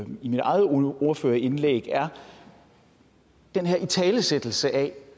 mit eget ordførerindlæg er den her italesættelse af